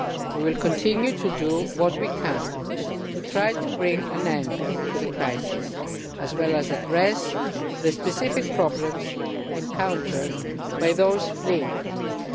We will continue to do what we can to try to bring an end to the crisis, and to address the specific problems encountered by those fleeing from it.